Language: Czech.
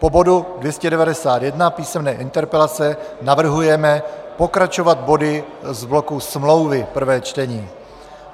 Po bodu 291 písemné interpelace navrhujeme pokračovat body z bloku smlouvy 1. čtení.